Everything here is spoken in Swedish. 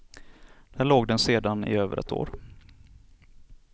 Där låg den sedan i över ett år.